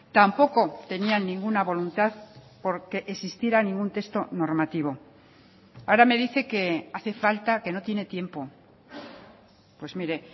tampoco tenían ninguna voluntad porque existiera ningún texto normativo ahora me dice que hace falta que no tiene tiempo pues mire